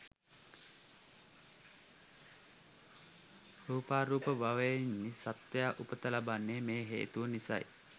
රූපාරූප භවයන්හි සත්වයා උපත ලබන්නේ මේ හේතුව නිසයි.